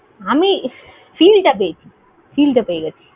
আমি feel টা পেয়েছি, feel টা পেয়ে গেছি।